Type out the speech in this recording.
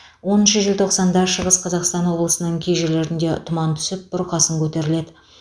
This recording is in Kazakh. оныншы желтоқсанда шығыс қазақстан облысының кей жерлерінде тұман түсіп бұрқасын көтеріледі